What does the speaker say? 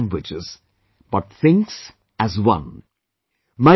She speaks 18 languages, but thinks as one